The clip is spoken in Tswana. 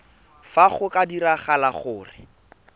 fa go ka diragala gore